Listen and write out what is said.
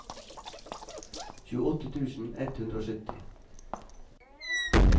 tjueåtte tusen ett hundre og sytti